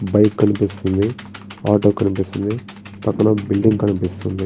Bike కనిపిస్తుంది auto కనిపిస్తుంది పక్కన ఒక బిల్డింగ్ కనిపిస్తుంది.